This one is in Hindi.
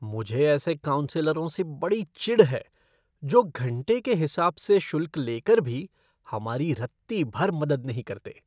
मुझे ऐसे काउंसलरों से बड़ी चिढ़ है जो घंटे के हिसाब से शुल्क लेकर भी हमारी रत्ती भर मदद नहीं करते।